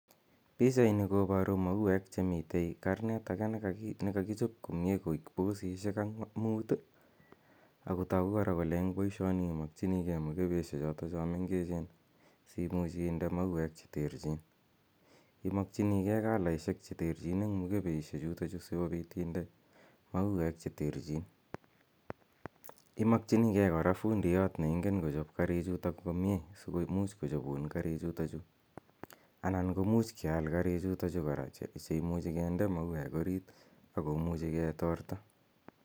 Pichaini koparu mauek che mitei karnet age ne kakichop komye koek pkosishek mut ako tagu kora kole eng' poishoni imakchinigei mukebeshechotocho mengechen si imuch inde mauek che terchin. Imakchinigei kalaishek che terchin eng' mukebeshechutachu si kopit inde mauek che terchin. Imakchinigei kora fundiyat ne ingen kochop karichutok komye si komuch kochopun karichutachu anan ko much keal karichutachu kora che imuchi kinde mauek arit ako muchi ketorta.